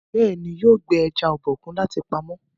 béèni yóò gbé eja Obokun láti pàmò.